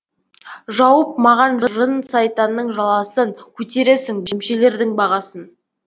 жауып маған жын сайтанның жаласын көтересің дүмшелердің бағасын